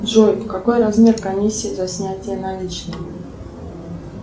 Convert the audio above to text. джой какой размер комиссии за снятие наличных